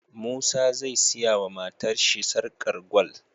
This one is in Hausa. Musa zai siya wa matar shi sarƙar gwal